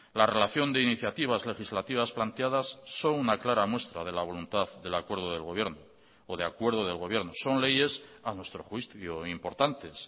la relación de iniciativas legislativas planteadas son una clara muestra de la voluntad de acuerdo de gobierno son leyes a nuestro juicio importantes